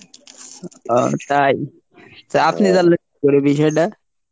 আহ তাই? তো আপনি জানলেন কীকরে এই বিষয়ডা?